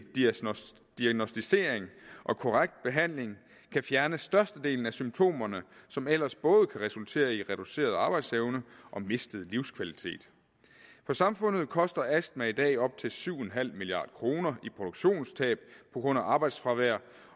diagnosticering og korrekt behandling kan fjerne størstedelen af symptomerne som ellers både kan resultere i reduceret arbejdsevne og mistet livskvalitet for samfundet koster astma i dag op til syv milliard kroner i produktionstab på grund af arbejdsfravær